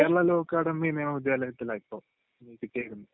Kerala law academy നിയമവിദ്യാലയത്തിലാ ഇപ്പൊ കിട്ടിയേക്കുന്നത്.